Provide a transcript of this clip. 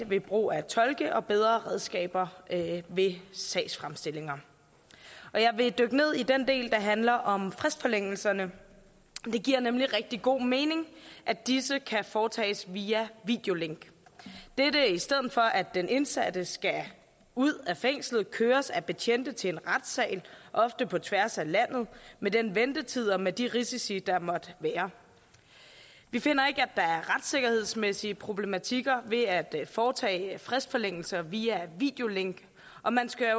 ved brug af tolke og bedre redskaber ved sagsfremstillinger jeg vil dykke ned i den del der handler om fristforlængelserne det giver nemlig rigtig god mening at disse kan foretages via videolink dette er i stedet for at den indsatte skal ud af fængslet køres af betjente til en retssal ofte på tværs af landet med den ventetid og med de risici der måtte være vi finder ikke at der er retssikkerhedsmæssige problematikker ved at foretage fristforlængelser via videolink og man skal